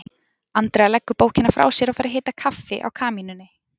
Andrea leggur bókina frá sér og fer að hita kaffi á kamínunni.